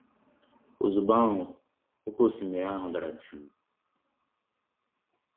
Ozugbọ ahụ, oké osimiri ahụ dara jụụ.